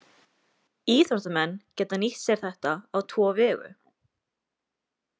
Íþróttamenn geta nýtt sér þetta á tvo vegu.